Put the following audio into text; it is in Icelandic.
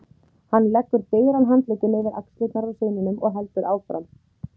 Hann leggur digran handlegginn yfir axlirnar á syninum og heldur áfram